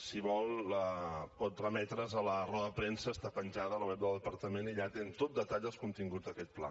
si vol pot remetre’s a la roda de premsa que està penjada al web del departament i allà té amb tot detall els continguts d’aquest pla